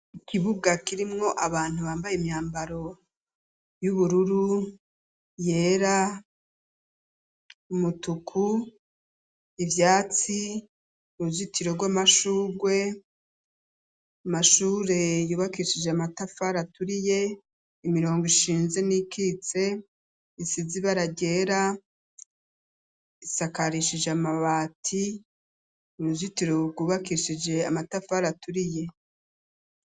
Ikibuga kirimwo abantu bambaye imyambaro y'ubururu yera umutuku ivyatsi uruzitiro rw'amashurwe mashure yubakishije amatafara aturiye imirongo ishinze n'ikitse insizibara gera isakarishije amabati urujitiro uwugubakishije amatafari aturiye.